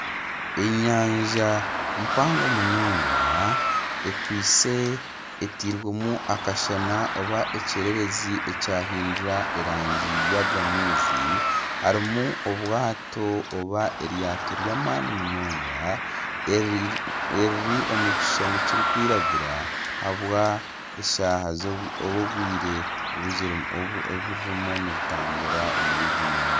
Enyanja mpango munonga ekwitse etiirwemu ekyererezi oba akashana ekyahindura erangi yaga maizi harimu obwato oba eryato ry'amaani munonga eriri omu kishushani kirikwiragura ahabw'obwire obu ririmu niritamburira omuri egi nyanja